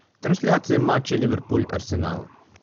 трансляция матча ливерпуль арсенал